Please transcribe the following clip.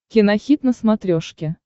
кинохит на смотрешке